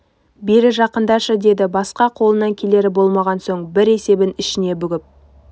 бері жақындашы деді басқа қолынан келері болмаған соң бір есебін ішіне бүгіп